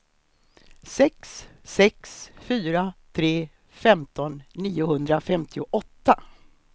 sex sex fyra tre femton niohundrafemtioåtta